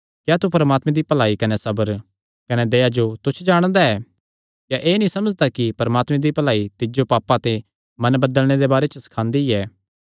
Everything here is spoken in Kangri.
क्या तू परमात्मे दी भलाई कने सबर कने दया जो तुच्छ जाणदा ऐ क्या एह़ नीं समझदा कि परमात्मे दी भलाई तिज्जो पापां ते मन बदलणे दे बारे च सखांदी ऐ